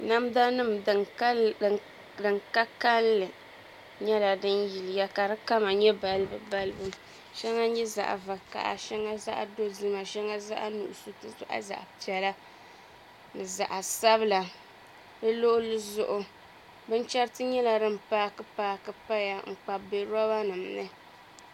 Namda nim din ka kanli nyɛla din yiliya ka di kama nyɛ balibu balibu shɛŋa nyɛ zaɣ vakaɣa shɛŋa zaɣ dozima shɛŋa zaɣ nuɣso n ti pahi zaɣ piɛla ni zaɣ sabila di luɣuli zuɣu binchɛriti nyɛla din paaki paaki paya n kpabi bɛ roba nim ni